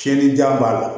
Tiɲɛnijan b'a la